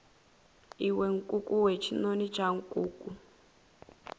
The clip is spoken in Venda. iwe nkukuwe tshinoni tsha nkuku